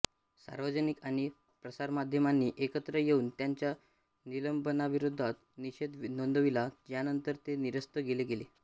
सार्वजनिक आणि प्रसारमाध्यमांनी एकत्र येऊन त्यांच्या निलंबनाविरोधात निषेध नोंदविला ज्यानंतर ते निरस्त केले गेले